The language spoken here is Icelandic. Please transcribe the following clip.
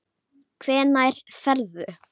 Hvenær ferðu?